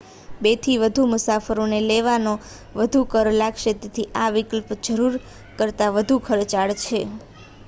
2 થી વધુ મુસાફરોને લેવાનો વધુ કર લાગશે તેથી આ વિકલ્પ જરૂર કરતા વધુ ખર્ચાળ છે